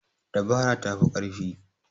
Dabara ta fi ƙarfi.